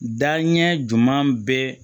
Daɲɛ ɲuman bɛ